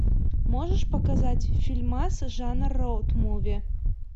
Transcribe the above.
можешь показать фильмас жанр роуд муви